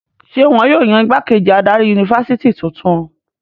Ṣé wọn yóò yan ìgbákejì adarí yunifásitì tuntun?